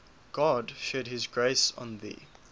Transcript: god shed his grace on thee